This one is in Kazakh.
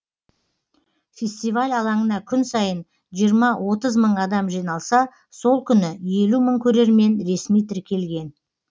фестиваль алаңына күн сайын жиырма отыз мың адам жиналса сол күні елу мың көрермен ресми тіркелген